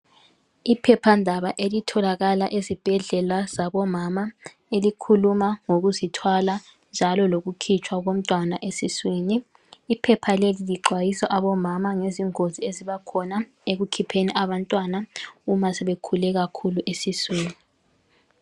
Iphephandaba elitholakala ezibhedlela zabomama elikhuluma ngokuzithwala, njalo lokukhitshwa komntwana esiswini. Iphepha leli lixwayisa abomama ngezingozi ezibakhona ekukhipheni abantwana nxa sebekhule kakhulu esiswini.